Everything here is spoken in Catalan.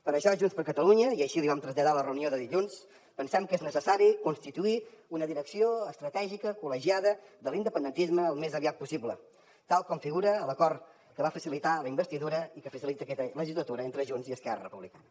per això junts per catalunya i així l’hi vam traslladar a la reunió de dilluns pensem que és necessari constituir una direcció estratègica col·legiada de l’independentisme al més aviat possible tal com figura a l’acord que va facilitar la investidura i que facilita aquesta legislatura entre junts i esquerra republicana